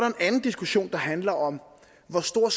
en anden diskussion der handler om hvor stor